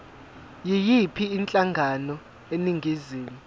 yiyiphi inhlangano eningizimu